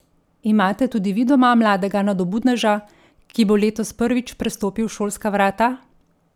Imate tudi vi doma mladega nadobudneža, ki bo letos prvič prestopil šolska vrata?